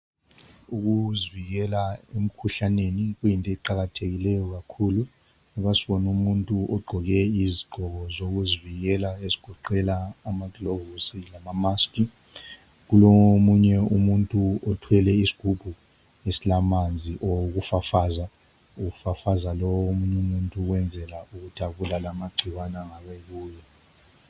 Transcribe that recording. Ukuzivikela emkhuhlaneni kuyinto eqakathekileyo kakhulu. Lapha sibona umuntu ogqqoke izigqoko zokuzivikela ezigoqela amagilovisi lama mask kulomunye umuntu othwele isigubhu esilamanzi okufafaza efafaza lowu muntu ukwenzela ukuthi abulale amagcikwane angabe ekuye.